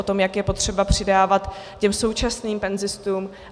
O tom, jak je potřeba přidávat těm současným penzistům.